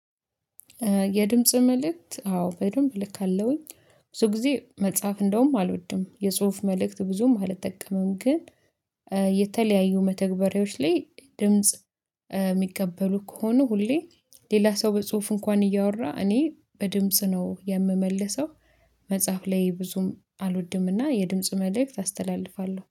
የድምጽ መልእክት አዎ በደንብ ልካለውኝ። ብዙ ጊዜ መጽሐፍ እንደውም አልወድም የጽሁፍ መልእክት ብዙም አልጠቀመም ግን የተለያዩ መተግበሪያዎች ላይ ድምጽ የሚቀበሉ ከሆኑ ሁሌ ሌላ ሰው በጽሁፍ እንኳን እያወራ እኔ በድምጽ ነው የምመለሰው። መጽሐፍ ላይ ብዙም አልወድምና የድምጽ መልእክት አስተላልፋለሁ